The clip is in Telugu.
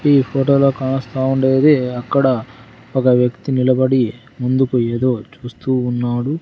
ఈ ఫోటోలో కాస్త ఉండేది అక్కడ ఒక వ్యక్తి నిలబడి ముందుకు ఏదో చూస్తూ ఉన్నాడు.